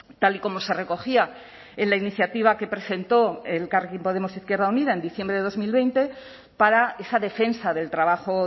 tal y como se recogía en la iniciativa que presentó elkarrekin podemos izquierda unida en diciembre de dos mil veinte para esa defensa del trabajo